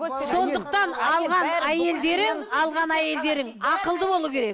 сондықтан алған әйелдерің алған әйелдерің ақылды болуы керек